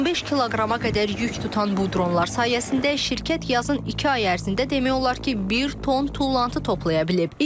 15 kiloqrama qədər yük tutan bu dronlar sayəsində şirkət yazın iki ay ərzində demək olar ki, bir ton tullantı toplaya bilib.